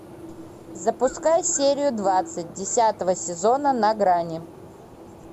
запускай серию двадцать десятого сезона на грани